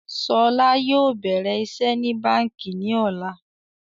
Ṣọlá yóò bẹ̀rẹ̀ iṣẹ́ ní báńkì ní ọ̀la